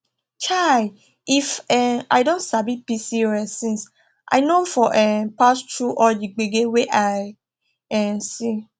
chai if um i don sabi pcos since i no for um pass through all the gbege wey i um see